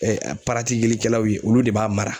paratilikɛlaw ye olu de b'a mara.